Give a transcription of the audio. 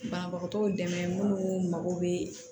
Banabagatɔw dɛmɛ minnu mago bɛ